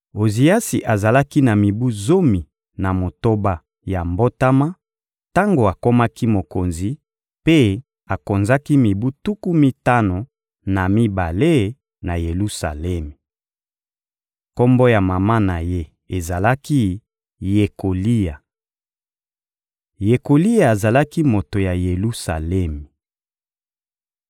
Oziasi azalaki na mibu zomi na motoba ya mbotama tango akomaki mokonzi, mpe akonzaki mibu tuku mitano na mibale na Yelusalemi. Kombo ya mama na ye ezalaki «Yekolia.» Yekolia azalaki moto ya Yelusalemi.